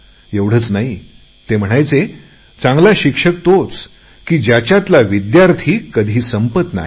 एवढेच नाही तर ते म्हणायचे चांगला शिक्षक तोच की ज्याच्यातला विद्यार्थी कधी संपत नाही